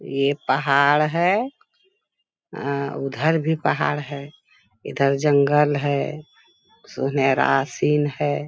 ये पहाड़ है। अ उधर भी पहाड़ है इधर जंगल है सुनहरा सीन है।